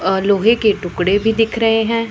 और लोहे के टुकड़े भी दिख रहें हैं।